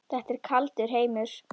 Þetta er kaldur heimur.